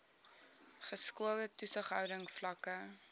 geskoolde toesighouding vlakke